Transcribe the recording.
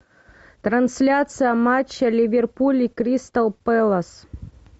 трансляция матча ливерпуль и кристал пэлас